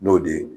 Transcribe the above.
N'o de ye